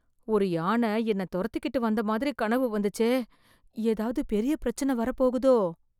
ஒரு யான என்ன தொரத்திகிட்டு வந்த மாதிரி கனவு வந்துச்சே... எதாவது பெரிய பிரச்சன வரப்போகுதோ...